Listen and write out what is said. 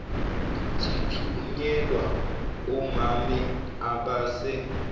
sithunyelwa omame abase